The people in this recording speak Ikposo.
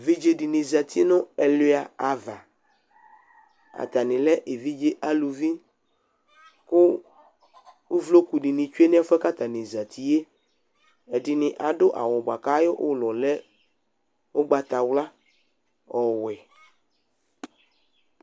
Evidzedɩnɩ zati nu ɛlʊa va, atani le evidze aluvi ku uvlokudɩni tsʊe nʊ ɛfuɛ katani zatiye, edinɩ adʊ awʊ buaku ulɔ lɛ ʊgbatawla ɔwɛ